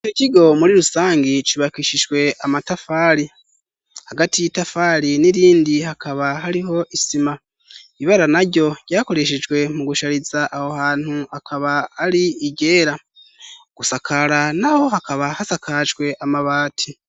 Ico kigo muri rusangi cubakishijwe amatafari, hagati y'itafari n'irindi hakaba hariho isima ,ibibara naryo ryakoreshejwe mu gushariza aho hantu akaba ari iryera, gusakara naho hakaba hasakajwe amabati.